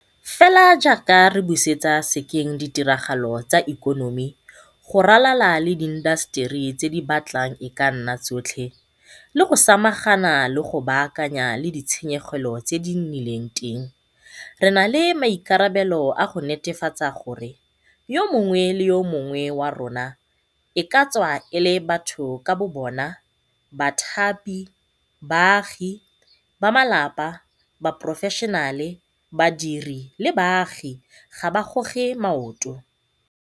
Fela jaaka re busetsa sekeng ditiragalo tsa ikonomi go ralala le diintaseteri tse di batlang e ka nna tsotlhe - le go samagana le go baaka nyana le ditshenyegelo tse di nnileng teng re na le maikarabelo a go netefatsa gore yo mongwe le yo mongwe wa rona e ka tswa e le batho ka bo bona, bathapi, baagi, bamalapa, baporofeshenale, badiri le baagi ga a goge maoto.